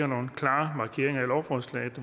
nogle klare markeringer i lovforslaget